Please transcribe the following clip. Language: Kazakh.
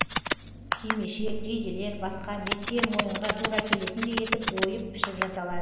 кимешек жейделер басқа бетке мойынға тура келетіндей етіп ойып пішіп жасалады